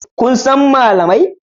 Kun san malamai?